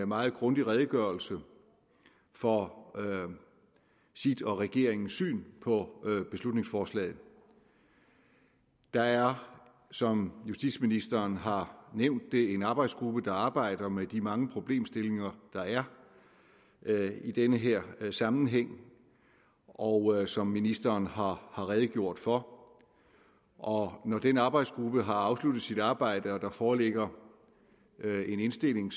meget grundig redegørelse for sit og regeringens syn på beslutningsforslaget der er som justitsministeren har nævnt en arbejdsgruppe der arbejder med de mange problemstillinger der er i den her sammenhæng og som ministeren har redegjort for og når den arbejdsgruppe har afsluttet sit arbejde og der foreligger en indstilling